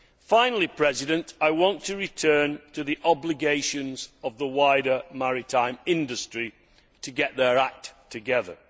Finally, I want to return to the obligations of the wider maritime industry to get their act together.